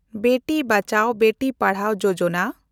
Beti Bachao, Beti Padhao Yojana